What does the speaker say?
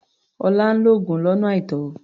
Ọlá ń lo oògùn lọ́nà àìtọ́.